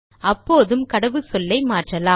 அப்போதும் கடவுச்சொல்லை மாற்றலாம்